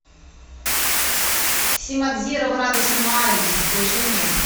симадзиро в радужном оазисе включи мне